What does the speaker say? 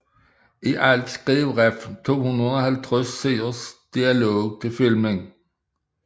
I alt skrev Refn 250 siders dialog til filmen